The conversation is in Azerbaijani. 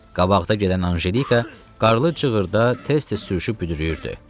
Qabaqda gedən Anjelika qarlı cığırda tez-tez sürüşüb büdrüyürdü.